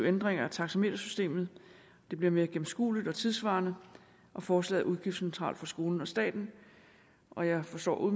ændringer af taxametersystemet det bliver mere gennemskueligt og tidssvarende og forslaget er udgiftsneutralt for skolen og staten og jeg forstår